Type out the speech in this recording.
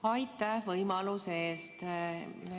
Aitäh võimaluse eest!